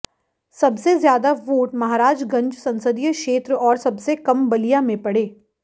सबसे ज्यादा वोट महराजगंज संसदीय क्षेत्र और सबसे कम बलिया में पड़े